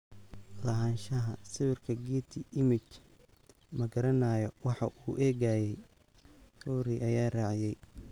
Lahaanshaha sawirka Getty Images "Ma garanayo waxa uu eegayay," Fury ayaa raaciyay.